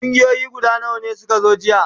Kungiyoyi guda nawa ne suka zo jiya?